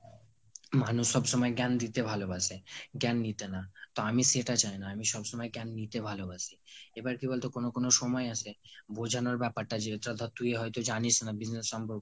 মানুষ সব সময় জ্ঞান দিতে ভালো বাসে, জ্ঞান নিতে না। তো আমি সেটা চাই না, আমি সব সময় জ্ঞান নিতে ভালোবাসি। এবার কি বলতো কোনো কোনো সময় আসে, বোজানোর ব্যাপারটা যেটা ধর তুই হয়তো জানিস না business সম্পর্কে